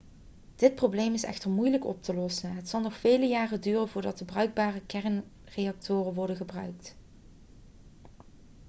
dit probleem is echter moeilijk om op te lossen het zal nog vele jaren duren voordat er bruikbare kernreactoren worden gebouwd